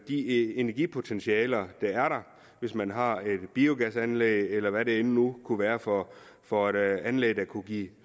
de energipotentialer der er der hvis man har et biogasanlæg eller hvad det nu kunne være for for et anlæg der kunne give